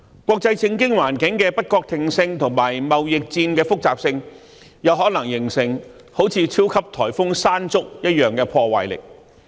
國際政經環境的不確定性及貿易戰的複雜性，有可能形成猶如超級颱風"山竹"般的破壞力。